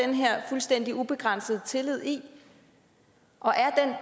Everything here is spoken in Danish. den her fuldstændig ubegrænsede tillid i